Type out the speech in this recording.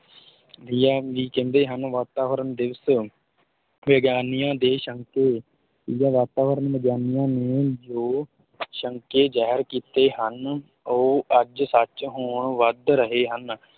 ਕਹਿੰਦੇ ਹਨ ਵਾਤਾਵਰਨ ਦਿਵਸ਼, ਵਿਗਿਆਨੀਆਂ ਦੇ ਸ਼ੰਕੇ, ਵਾਤਾਵਰਣ ਵਿਗਿਆਨੀਆਂ ਨੇ ਜੋ ਸ਼ੰਕੇ ਜ਼ਹਿਰ ਕੀਤੇ ਹਨ ਉਹ ਅੱਜ ਸੱਚ ਹੋਣ ਵੱਧ ਰਹੇ ਹਨ।